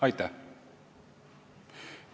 Aitäh!